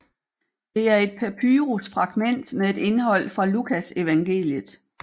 Det er et papyrus fragment med et indhold fra Lukasevangeliet